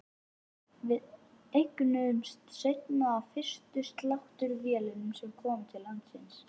Við eignuðumst eina af fyrstu sláttuvélunum sem komu til landsins.